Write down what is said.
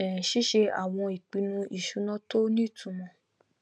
um ṣíṣe àwọn ìpinnu ìṣúná tó nítumọ